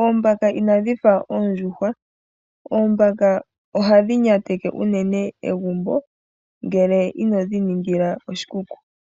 Oombaka inadhi fa oondjuhwa. Oombaka ohadhi nyateke unene egumbo, ngele inodhi ningila oshikuku.